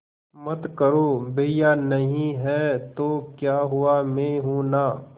मत करो भैया नहीं हैं तो क्या हुआ मैं हूं ना